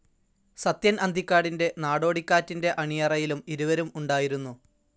സത്യൻ അന്തിക്കാടിന്റെ നാടോടിക്കാറ്റിന്റെ അണിയറയിലും ഇരുവരും ഉണ്ടായിരുന്നു.